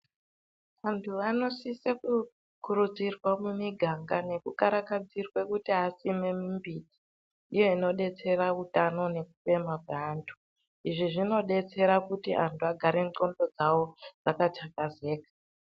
Vantu vanosise kukurudzirwa mumiganga nekukarakadzirwe kuti vasime mimbiti iya inobetsere utano nekufema kwaantu. Izvi zvinodetsera kuti antu agare ndxondo dzavo dzakathakazeka.